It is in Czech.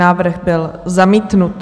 Návrh byl zamítnut.